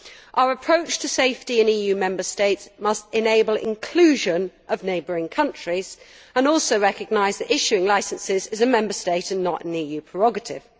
Our approach to safety in EU Member States must enable inclusion of neighbouring countries and also recognise that issuing licences is a Member State and not an EU prerogative.